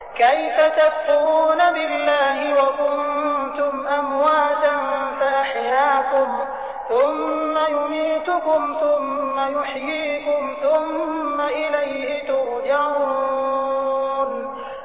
كَيْفَ تَكْفُرُونَ بِاللَّهِ وَكُنتُمْ أَمْوَاتًا فَأَحْيَاكُمْ ۖ ثُمَّ يُمِيتُكُمْ ثُمَّ يُحْيِيكُمْ ثُمَّ إِلَيْهِ تُرْجَعُونَ